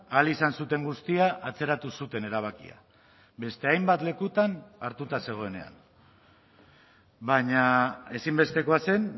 ahal izan zuten guztia atzeratu zuten erabakia beste hainbat lekutan hartuta zegoenean baina ezinbestekoa zen